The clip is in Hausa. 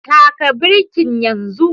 Taka birkin yanzu